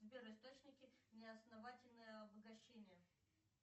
сбер источники неосновательного обогащения